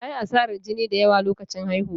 Ta yi asarar jini da yawa a lokacin haihuwa.